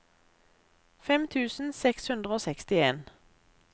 fem tusen seks hundre og sekstien